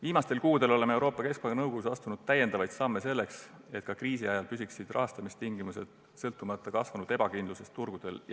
Viimastel kuudel oleme Euroopa Keskpanga nõukogus astunud samme selleks, et ka kriisiajal oleksid rahastamistingimused jätkuvalt soodsad, sõltumata kasvanud ebakindlusest turgudel.